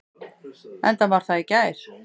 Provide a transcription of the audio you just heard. Enda var það í gær.